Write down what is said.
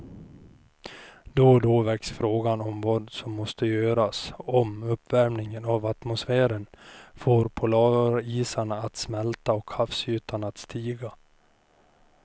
Då och då väcks frågan om vad som måste göras om uppvärmingen av atmosfären får polarisarna att smälta och havsytan att stiga.